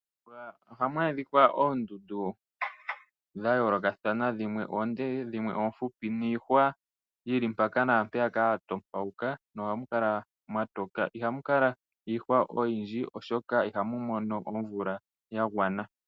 Mombuga ohamu adhika oondundu dha yoolokathana dhimwe oonde, dhimwe oofupi niihwa yili mpaka naampeyaka ya ntopauka nohamu kala mwa toka. Ihamu kala iihwa oyindji, oshoka ihamu mono omvula ya gwana.